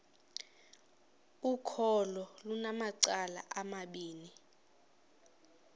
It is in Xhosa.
ukholo lunamacala amabini